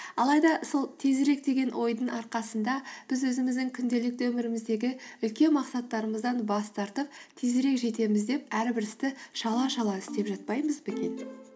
алайда сол тезірек деген ойдың арқасында біз өзіміздің күнделікті өміріміздегі үлкен мақсаттарымыздан бас тартып тезірек жетеміз деп әрбір істі шала шала істеп жатпаймыз ба екен